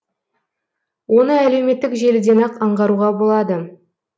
оны әлеуметтік желіден ақ аңғаруға болады